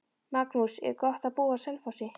Magnús: Er gott að búa á Selfossi?